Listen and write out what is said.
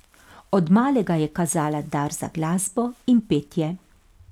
Od malega je kazala dar za glasbo in petje.